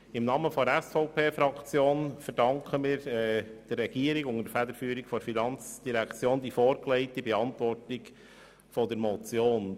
Im Namen der SVPFraktion verdanken wir der Regierung unter der Federführung der Finanzdirektion die schriftliche Beantwortung dieser Motion.